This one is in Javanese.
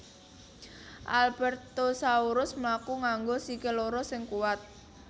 Albertosaurus mlaku nganggo sikil loro sing kuwat